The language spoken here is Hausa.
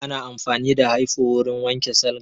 Ana amfani da hyfo wurin wanke salga